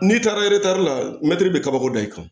N'i taara eretari la bɛ kabako da i kan